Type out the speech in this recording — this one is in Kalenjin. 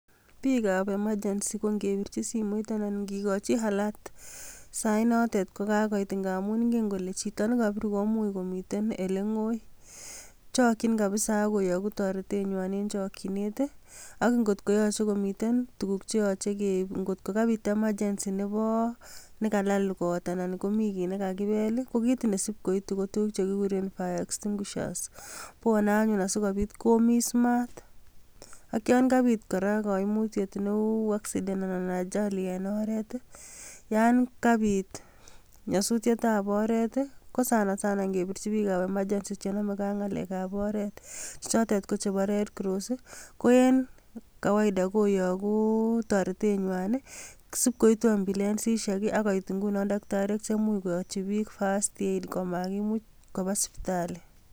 Bikab emachensi anan ko ingikochii alert sainotet ko kakoit ngamun ingen kole chito nekobirtoi koomuch komiten olengoi, chokchi kabisa koyoogu toretenywan, en chokchinet. Ak ngot komiten tuguuk cheyooche keib, kokabut emachensii nekalaal kot, anan ko mi kit nakakibeel. koibu tuguk chekikuren fire extinguishers .Bwone anyun asikobiit Komis maat, ak yon kabiit kora koimutiet newoo, kou achali en oret yon kabiit nyosutietab oret ko sanasana, kebirchin bik ab emachensi, chenomege ak ng'alekab oret chechotet kochebo Red cross. Koen kawaida, koyoogu toretenywan i,sibkoituu ambulances akoit ingunon takitariek cheimuch koyoochibiik first aid, komakimut kobaa sipitalii.